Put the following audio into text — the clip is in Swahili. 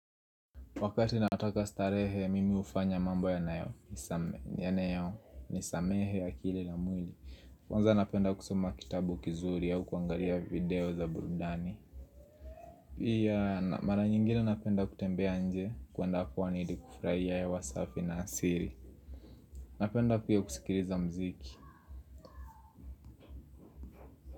Wakati nataka starehe, mimi hufanya mambo yanayonisamehe akili na mwili. Kwanza napenda kusoma kitabu kizuri au kuangalia video za burudani. Pia, mara nyingine napenda kutembea nje, kwenda kwaajili ya kufurahia hewa safi na asili. Napenda pia kusikiliza mziki.